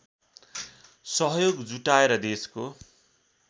सहयोग जुटाएर देशको